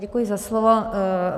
Děkuji za slovo.